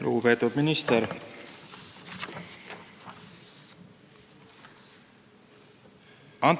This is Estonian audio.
Lugupeetud minister!